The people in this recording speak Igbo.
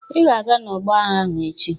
"Ị ga-aga n'ọgbọ agha ahụ echi"